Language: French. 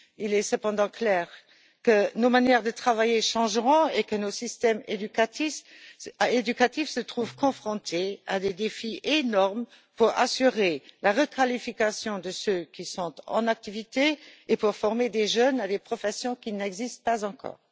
Il est cependant clair que nos manières de travailler changeront et que nos systèmes éducatifs se trouveront confrontés à des défis énormes pour assurer la requalification de ceux qui sont en activité et former des jeunes à des professions qui n'existent pas encore.